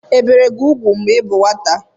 Ebìri gị úgwù mgbe ị bụ nwata?